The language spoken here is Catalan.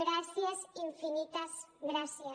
gràcies infinites gràcies